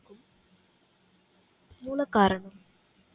மூல காரணம்